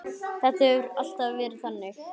Þetta hefur alltaf verið þannig.